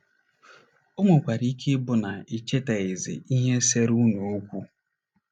O nwekwara ike ịbụ na ị chetaghịzi ihe seere unu okwu.